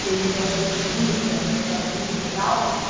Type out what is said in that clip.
servidão por dívida para para a indústria e tal.